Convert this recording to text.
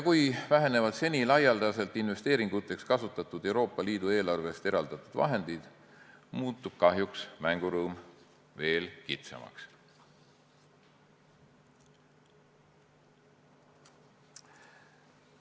Kui vähenevad seni laialdaselt investeeringuteks kasutatud Euroopa Liidu eelarvest eraldatud vahendid, muutub mänguruum kahjuks veel kitsamaks.